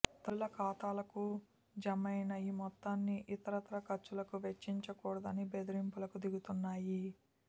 తల్లుల ఖాతాలకు జమైన ఈ మొత్తాన్ని ఇతరత్రా ఖర్చులకు వెచ్చించకూడదని బెదిరింపులకు దిగుతున్నాయి